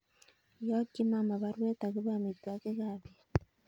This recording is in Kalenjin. Iyokin mama baruet agobo amitwokik ab bet